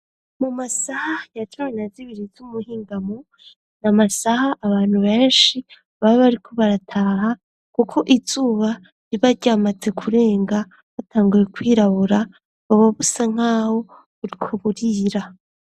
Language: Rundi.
Mu masaha ya cumi na zibiri z'umuhingamo na masaha abantu benshi baba bariko barataha kuko izuba riba ryamaze kurenga bwatanguye kwirabura buba busa nkaho buriko burira.